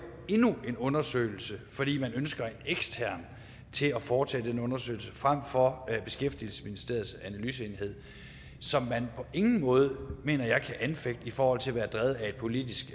endnu en undersøgelse fordi man ønsker en ekstern til at foretage den undersøgelse frem for at bruge beskæftigelsesministeriets analyseenhed som man på ingen måde mener jeg kan anfægte i forhold til at være drevet af et politisk